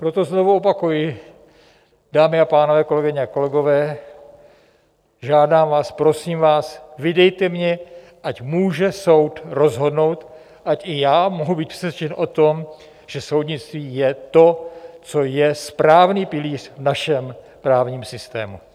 Proto znovu opakuji, dámy a pánové, kolegyně a kolegové, žádám vás, prosím vás, vydejte mě, ať může soud rozhodnout, ať i já mohu být přesvědčen o tom, že soudnictví je to, co je správný pilíř v našem právním systému.